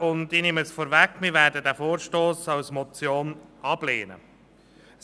Ich nehme vorweg, dass wir den Vorstoss als Motion ablehnen werden.